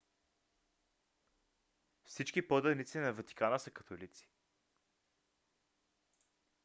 всички поданици на ватикана са католици